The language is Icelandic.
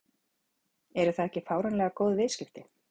Eru það ekki fáránlega góð viðskipti?